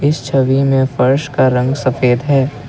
इस छवि में फर्श का रंग सफेद है।